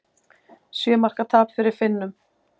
Sjö marka tap fyrir Finnum